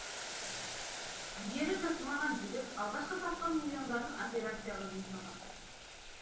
жігері жасымаған жігіт алғашқы тапқан миллиондарын операцияға жұмсаған